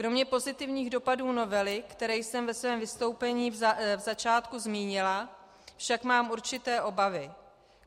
Kromě pozitivních dopadů novely, které jsem ve svém vystoupení v začátku zmínila, však mám určité obavy.